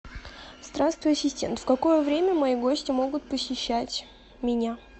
здравствуй ассистент в какое время мои гости могут посещать меня